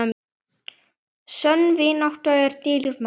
Sönn vinátta er dýrmæt.